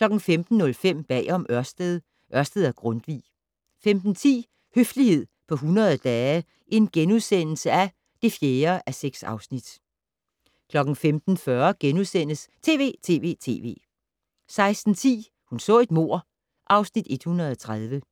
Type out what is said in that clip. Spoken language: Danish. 15:05: Bag om Ørsted - Ørsted og Grundtvig 15:10: Høflighed på 100 dage (4:6)* 15:40: TV!TV!TV! * 16:10: Hun så et mord (Afs. 130)